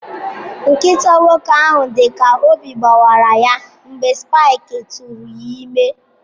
Nkịta nwoke ahụ dị ka obi gbawara ya mgbe Spike tụụrụ ime.